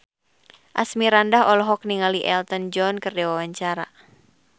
Asmirandah olohok ningali Elton John keur diwawancara